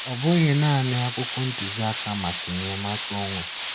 Ọ bụghị naanị akwụkwọ ntuziaka maka enyemaka onwe.